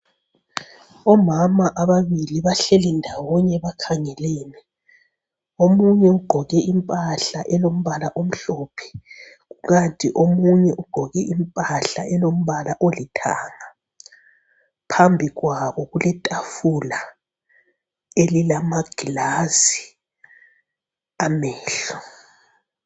Omama ababili bahleli ndawonye bakhangelene, omunye ugqoke impahla elombala omhlophe kukanti omunye ugqoke impahla elombala olithanga ,phambikwabo kuletafula elilamagilazi amehlo